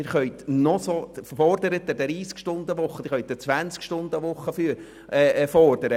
Sie können eine 30- oder sogar eine 20-Stunden-Woche fordern.